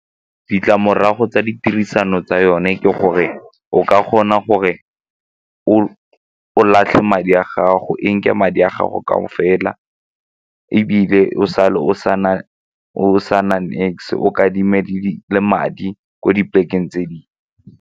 Ditlamorago tsa ditirisano tsa yone ke gore o ka kgona gore o latlhe madi a gago, e nke madi a gago gao fela ebile o sale o o kadime madi ko dipolekeng tse dingwe.